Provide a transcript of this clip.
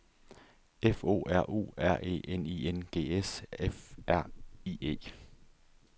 F O R U R E N I N G S F R I E